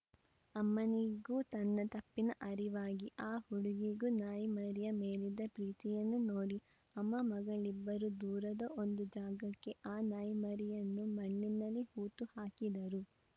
ಅಮ್ಮನಿಗೂ ತನ್ನ ತಪ್ಪಿನ ಅರಿವಾಗಿ ಆ ಹುಡುಗಿಗೂ ನಾಯಿಮರಿಯ ಮೇಲಿದ್ದ ಪ್ರೀತಿಯನ್ನು ನೋಡಿ ಅಮ್ಮ ಮಗಳಿಬ್ಬರೂ ದೂರದ ಒಂದು ಜಾಗಕ್ಕೆ ಆ ನಾಯಿಮರಿಯನ್ನು ಮಣ್ಣಲ್ಲಿ ಹೂತು ಹಾಕಿದರು